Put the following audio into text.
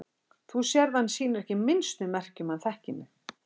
Þú sérð að hann sýnir ekki minnstu merki um að hann þekki mig.